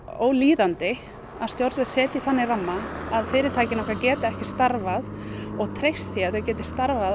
ólíðandi að stjórnvöld setja þannig ramma að fyrirtækin geti ekki starfað og treyst því að þeir geti starfað